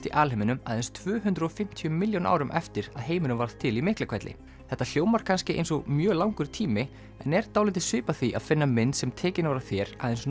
í alheiminum aðeins tvö hundruð og fimmtíu milljón árum eftir að heimurinn varð til í Miklahvelli þetta hljómar kannski eins og mjög langur tími en er dálítið svipað því að finna mynd sem tekin var af þér aðeins